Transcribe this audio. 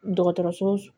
Dɔgɔtɔrɔso